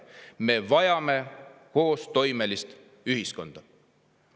Me vajame koostoimelist ühiskonda.